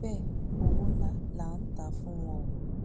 bẹẹ owó ńlá là ń tà á fún wọn o